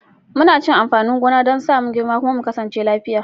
Muna cin amfanin gona don sa mu girma kuma mu kasance lafiya.